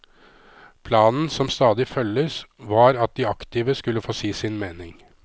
Planen som stadig følges, var at de aktive skulle få si sin mening.